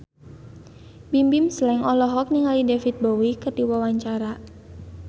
Bimbim Slank olohok ningali David Bowie keur diwawancara